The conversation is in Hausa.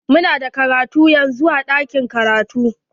Mu na da karatu yanzun a ɗakin karatu.